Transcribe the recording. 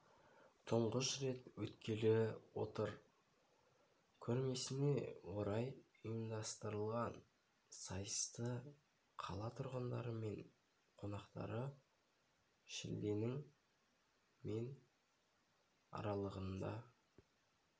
тұңғыш рет өткелі отыр көрмесіне орай ұйымдастырылған сайысты қала тұрғындары мен қонақтары шілденің мен аралығында